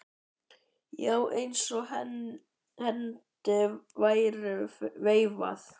Já, eins og hendi væri veifað.